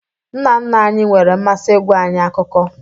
Nna nna anyị nwere mmasị ịgwa anyị akụkọ